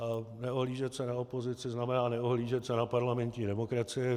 A neohlížet se na opozici znamená neohlížet se na parlamentní demokracii.